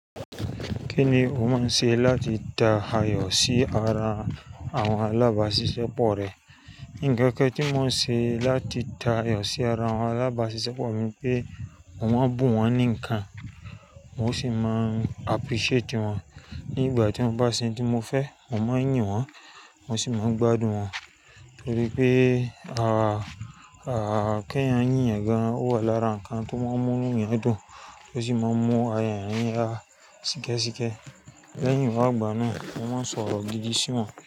Kíni o máa ń ṣe láti da àyọ̀ sí ara àwọn alábáṣiṣẹ́ pọ rẹ? Nǹkan kan tí mo ń ṣe láti da àyọ̀ sí ara àwọn alábáṣiṣẹ́ pọ mi pé mò ń bú wọ́n ní nǹkan, mo sì máa appreciate wọ́n nígbà tí wọ́n bá ṣe ohun tí mo fẹ́, mò ń yìn wọ́n, mo sì máa ń gbádùn wọ́n torí pé kí ẹ̀yàn yìn ẹ̀ gan-an wà lára ǹkan tó máa ń mú nínú ènìyàn dùn, ó sì máa ń mú ara eyan yín ha síkẹ́síkẹ́ lẹ́yìn ìwà ìgbà náà, mo máa ń sọ̀rọ̀ gidi sí wọn.